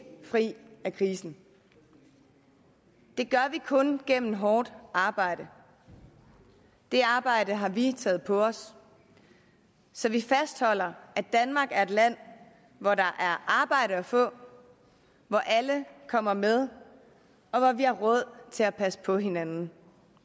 fri af krisen det gør vi kun gennem hårdt arbejde det arbejde har vi taget på os så vi fastholder at danmark er et land hvor der er arbejde at få hvor alle kommer med og hvor vi har råd til at passe på hinanden